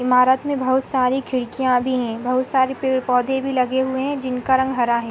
इमारत में बहोत सारी खिड़किया भी हैं। बहोत सारे पेड़ पौधे भी लगे हुए हैं जिनका रंग हरा है|